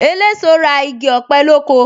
Eléso ra igi ọ̀pẹ lóko